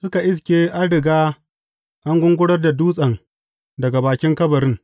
Suka iske an riga an gungurar da dutsen daga bakin kabarin.